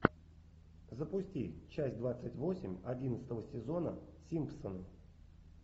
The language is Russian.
запусти часть двадцать восемь одиннадцатого сезона симпсоны